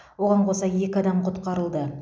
оған қоса екі адам құтқарылды